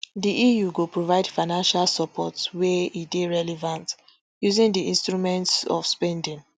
di eu go provide financial support wia e dey relevant using di instruments of spending